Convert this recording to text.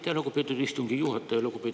Aitäh, lugupeetud istungi juhataja!